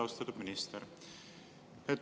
Austatud minister!